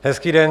Hezký den.